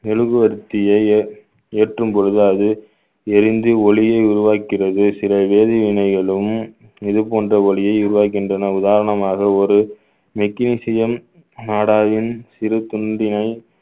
மெழுகுவர்த்தியை ஏற்~ ஏற்றும் பொழுது அது எரிந்து ஒளியை உருவாக்குகிறது சில வேதி வினைகளும் இது போன்ற ஒளியை உருவாக்குகின்றன உதாரணமாக ஒரு magnesium நாடாவின் சிறு துண்டினை